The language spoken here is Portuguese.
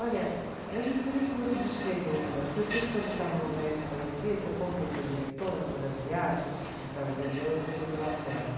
Olha, eu não sei nem como te descrever o negócio, porque eu sei que quando eu estava no, eu contei para a diretora, numa das viagens, que a gente estava de avião, eu sentei do lado dela.